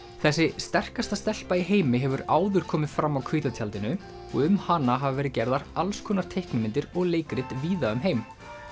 þessi sterkasta stelpa í heimi hefur áður komið fram á hvíta tjaldinu og um hana hafa verið gerðar alls konar teiknimyndir og leikrit víða um heim